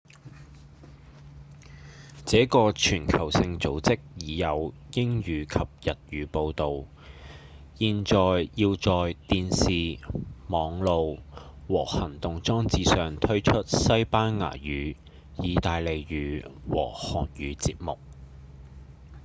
這個全球性組織已有英語及日語報導現在要在電視、網路和行動裝置上推出西班牙語、義大利語和韓語節目